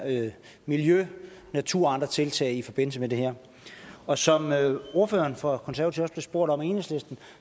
miljø natur og andre tiltag i forbindelse med det her og som ordføreren for konservative også spurgt om af enhedslisten